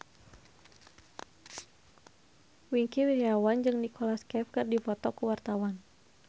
Wingky Wiryawan jeung Nicholas Cafe keur dipoto ku wartawan